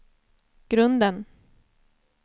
grunden